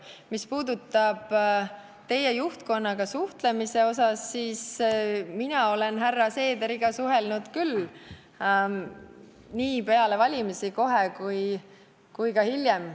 Mis puutub teie juhtkonnaga suhtlemisse, siis mina olen härra Seederiga suhelnud küll, nii peale valimisi kohe kui ka hiljem.